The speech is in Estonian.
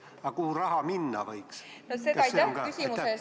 Aga kuhu raha minna võiks, kas see on ka kirjas?